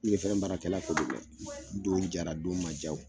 Yiri feren baarakɛla ko do dɛ don jaara don man jaa o.